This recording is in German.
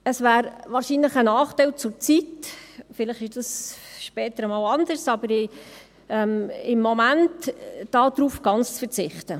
Es wäre zurzeit wahrscheinlich ein Nachteil – vielleicht ist dies später einmal anders –, gänzlich darauf zu verzichten.